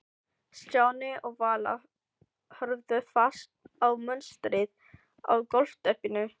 Stjáni og Vala horfðu fast á munstrið á gólfteppinu.